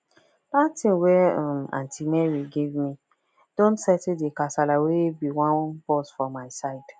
that thing wey um aunty mary give me don settle the kasala wey be wan burst for my side